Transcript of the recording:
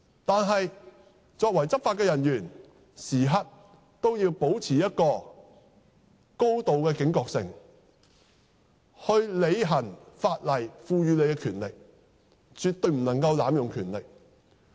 但是，作為執法人員，時刻也要保持高度警覺性，行使法例賦予的權力，絕對不能濫用權力。